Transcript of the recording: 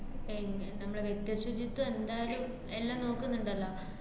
എങ്ങ~ നമ്മള് വ്യക്തിശുചിത്വം എന്തായാലും എല്ലാം നോക്ക്ന്ന്ണ്ടല്ലൊ.